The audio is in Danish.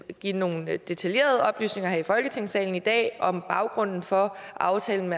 give nogle detaljerede oplysninger her i folketingssalen i dag om baggrunden for aftalen